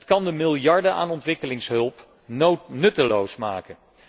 Het kan de miljarden aan ontwikkelingshulp nutteloos maken.